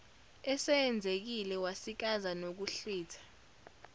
eseyenzekile wasikaza nokuhlwitha